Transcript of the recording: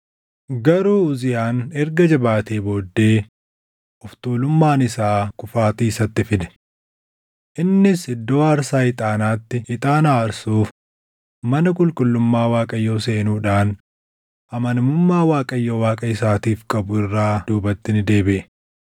Garuu Uziyaan erga jabaatee booddee, of tuulummaan isaa kufaatii isatti fide. Innis iddoo aarsaa ixaanaatti ixaana aarsuuf mana qulqullummaa Waaqayyoo seenuudhaan amanamummaa Waaqayyo Waaqa isaatiif qabu irraa duubatti ni deebiʼe.